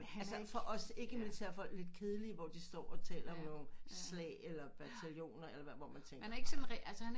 Han er ikke for os ikke militær folk lidt kedelige hvor de står og taler jo om slag eller bataljoner eller hvad hvor man tænker ej